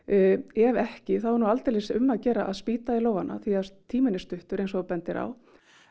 ef ekki þá er aldeilis um að gera að spýta í lófana því tíminn er stuttur eins og þú bendir á